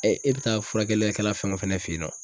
e bi taa furakɛli kɛla fɛn o fɛn fɛnɛ fen ye nɔ